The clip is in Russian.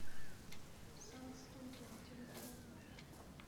сан студио телефон